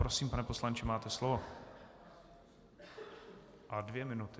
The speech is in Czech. Prosím, pane poslanče, máte slovo a dvě minuty.